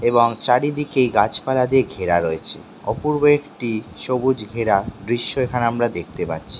এবং চারিদিকেই গাছপালা দিয়ে ঘেরা রয়েছে। অপূর্ব একটি সবুজ ঘেরা দৃশ্য এখানে আমরা দেখতে পাচ্ছি।